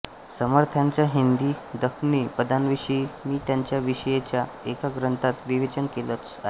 समर्थांच्या हिन्दी दक्ख्नी पदांविषयी मी त्यांच्या विषयीच्या एका ग्रंथात विवेचन केलंच आहे